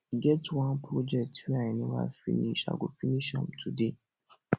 e get wan project wey i never finish i go finish am today